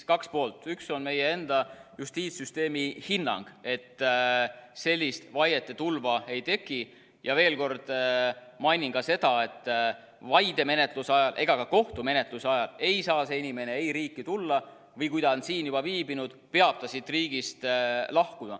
Kaks asja: üks on meie enda justiitssüsteemi hinnang, et sellist vaiete tulva ei teki, ja veel kord mainin ka seda, et vaidemenetluse ajal ega ka kohtumenetluse ajal ei saa see inimene ei riiki tulla, või kui ta on siin juba viibinud, peab ta siit riigist lahkuma.